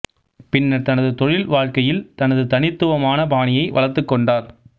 பின்னர் தனது தொழில் வாழ்க்கையில் தனது தனித்துவமான பாணியை வளர்த்துக் கொண்டார்